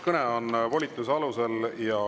Kõne on volituse alusel.